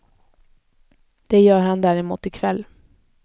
Det gör han däremot i kväll.